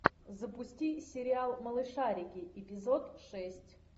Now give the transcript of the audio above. запусти сериал малышарики эпизод шесть